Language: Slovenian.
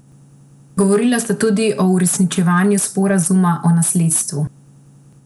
Govorila sta tudi o uresničevanju sporazuma o nasledstvu.